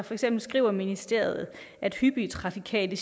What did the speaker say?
for eksempel skriver ministeriet at hyppige trafikale